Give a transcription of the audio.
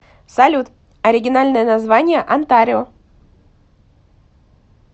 салют оригинальное название онтарио